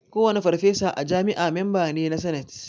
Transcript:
Kowane farfesa a jami'a memba ne na sanate